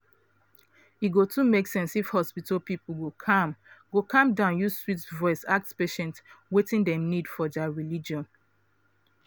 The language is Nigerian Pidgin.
e go too make sense if hospital people go calm go calm down use sweet voice ask patients wetin dem need for dia religion.